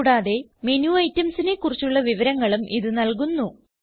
കൂടാതെ മേനു itemsനെ കുറിച്ചുള്ള വിവരങ്ങളും ഇത് നൽകുന്നു